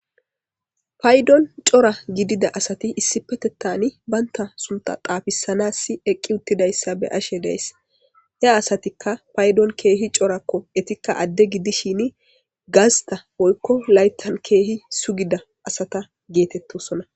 paydon cora gidida asati issi petettani baynta sunta xaafisanassi eqqi uttidayssa be ashe deyss he asatikka paydon keehi corakko etikka adde gidishini gasta oykko laytan keehi sugida asata geetettosona